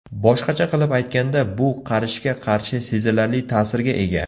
Boshqacha qilib aytganda, bu qarishga qarshi sezilarli ta’sirga ega.